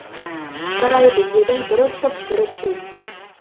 жарайды дедім бір ысып бір суып